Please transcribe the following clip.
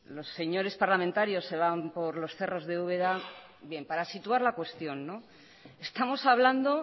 los señores parlamentarios se van por los cerros de úbeda bien para situar la cuestión estamos hablando